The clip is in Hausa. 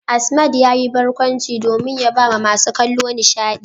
Asmad yayi barkwanci domin ya bawa masu kallo nishadi.